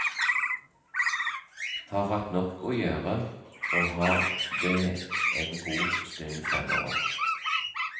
Har hatt nok å gjøre, og har det en god stund fremover.